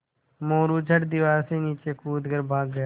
मोरू झट दीवार से नीचे कूद कर भाग गया